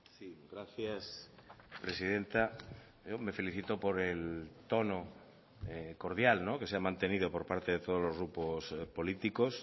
sí gracias presidenta me felicito por el tono cordial que se ha mantenido por parte de todos los grupos políticos